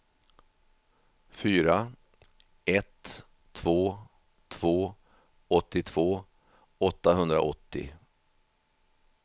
fyra ett två två åttiotvå åttahundraåttio